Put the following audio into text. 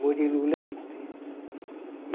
Murilo Leite.